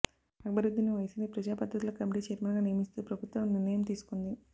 అక్బరుద్దీన్ ఒవైసీని ప్రజాపద్దుల కమిటీ చైర్మన్గా నియమిస్తూ ప్రభుత్వం నిర్ణయం తీసుకుంది